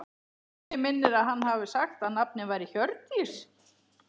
Mig minnir að hann hafi sagt að nafnið væri Hjördís.